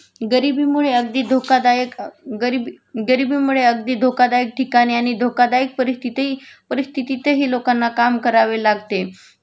गरिबीमुळे अगदी धोकादायक अ गरिबी गरिबीमुळे अगदी धोकादायक ठिकाणी आणि धोकादायक परिस्थितही परिस्थितीतही लोकांना काम करावे लागते